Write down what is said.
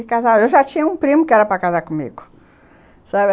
Eu já tinha um primo que era para casar comigo.